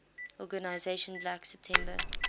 organization black september